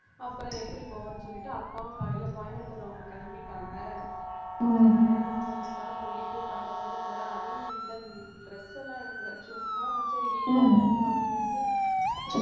அப்புறம் எப்படி போவோன்னு சொல்லிட்டு அப்பாவும் காலையிலே கோயம்புத்தூர் அவங்க கிளம்பிட்டாங்க அதனாலே நான் மட்டும்தான் போயிட்டு பதினோரு மணிபோல அதுவும் இந்த dress எல்லாம் எடுக்கலை சும்மா சரி வீட்டிலதான இருக்கிறோம் அப்படின்னு சொல்லிட்டு